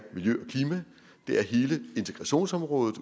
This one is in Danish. miljø og klima hele integrationsområdet